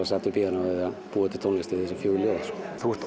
sat við píanóið að búa til tónlist við þessi fjögur ljóð þú ert